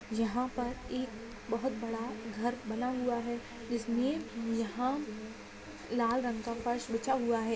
यहां पर एक बहुत बड़ा घर बना हुआ है जिसमें यहां लाल रंग का फर्श बिछा हुआ है।